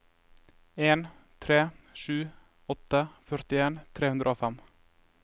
en tre sju åtte førtien tre hundre og fem